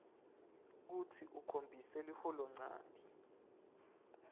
kutsi ukhombise liholonchanti